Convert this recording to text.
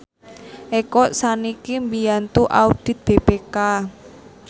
Eko sakniki mbiyantu audit BPK